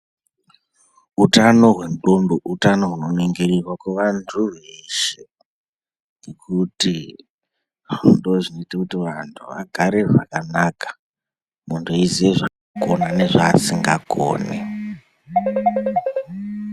Utano hwendxondo utano hunoningiriva kuvantu veshe. Ngekuti ndozvinoite kuti vantu vagare makanaka, muntu aiziya zvanokona nezvaasingakoni.